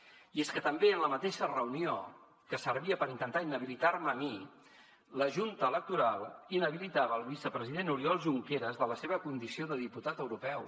i és que també en la mateixa reunió que servia per intentar inhabilitar me a mi la junta electoral inhabilitava el vicepresident oriol junqueras de la seva condició de diputat europeu